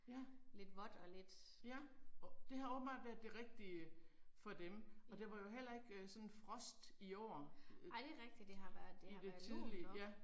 Ja. Ja det har åbenbart været det rigtige for dem. Og der var jo heller ikke øh sådan frost i år øh. I det tidlige, ja